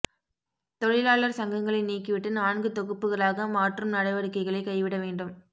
தொழிலாளர் சங்கங்களை நீக்கிவிட்டு நான்கு தொகுப்புகளாக மாற்றும் நடவடிக்கைகளை கைவிட வேண்டும்